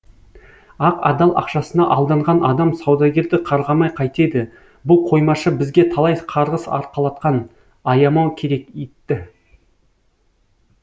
ақ адал ақшасына алданған адам саудагерді қарғамай қайтеді бұл қоймашы бізге талай қарғыс арқалатқан аямау керек итті